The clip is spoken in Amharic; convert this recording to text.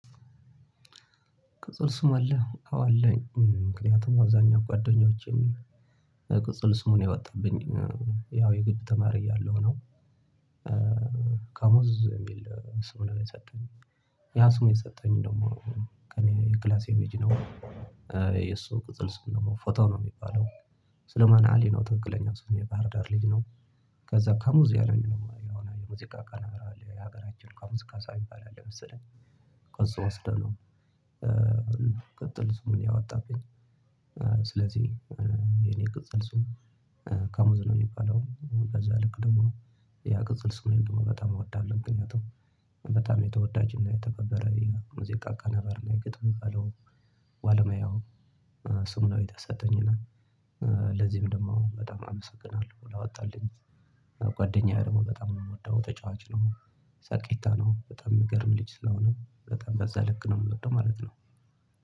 ቅጽል ስም አለ አዎ አለኝ ምክንያቱም አዛኛው ጓደኞቼን ቅጽል ስሙን የወጣብኝ ያው የግብ ተማሪ ያለው ነው። ካሙዝ የሚል ስሙን የሰጠኝ ያ ስሙን የሰጠኝ ደግሞ ከኔ የክላሴ ልጅነው። የሱ ቅጥል ስም ደግሞ ፎቶ ነው የሚባለው ስለሞን አሊ ነው ትክክለኛው ስሙ የባህር ዳር ልጅ ነው። ከዛ ከሙዚያ ነው የሆነ የሙዚቃ ነገር ለሀገራችን ከሙዚቃ ካሳ ሚባል አለ መሰለኝ ከሱ ወስደነው ቅጥል ስሙን ያወጣልኝ። ስለዚህ የኔ ቅጽል ስም ካሙዙ ነው። የሚባለው ከዛ ልክ ደግሞ ያ ቅጽል ስሜን ደግሞ በጣም በጣም እወዳለሁ። ግን ያቱ በጣም የተወዳጅና የተከበረ የሙዚቃ አቀናባሪና የግጥም በለው ዋለሙያው ስሙ የተሰጠኝና ለዚህም ደግሞ በጣም አመሰግናለሁ ላወጣልኝ። ጓደኛዬ ደግሞ በጣም ነው የምወደው ተጫዋች ነው ሰሳቂታ ነው በጣም የሚገርም ልጅ ስለሆነ በጣም በዛ ልክ ነው የምወደው ማለት ነው።